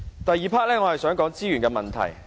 第二部分，我想談資源問題。